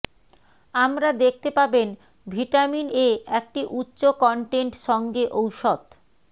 আমরা দেখতে পাবেন ভিটামিন এ একটি উচ্চ কন্টেন্ট সঙ্গে ঔষধ